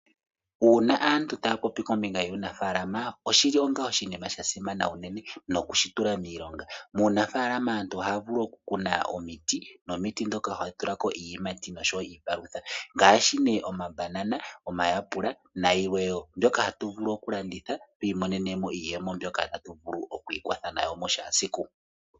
Uuna aantu taya popi kombinga yuunafaalama oshili onga oshinima sha simana unene nokushi tula miilonga. Muunafaalama aantu ohaya vulu okukuna omiti nomiti ndhoka ohadhi tula ko iiyimati nosho wo iipalutha. Ngaashi nee omabanana, omayapula nayilwe wo . Mbyoka hatu vulu kulanditha tu imonene mo iiyemo mbyono tatu vulu oku ikwatha nayo kehe esiku.